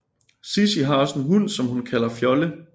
Sissi har også en hund som hun kalder Fjolle